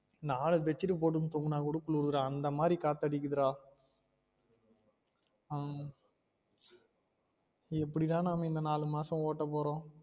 நாலு bed sheet உ போட்டுன்னு தூங்குன கூட குளுருது டா அந்த மாதிரி காத்து அடிக்குது டா உம் எப்படி தான் நாம இந்த நாலு மாசம் ஓட்ட போறோம்